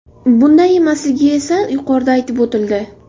Bunday emasligi esa yuqorida aytib o‘tildi.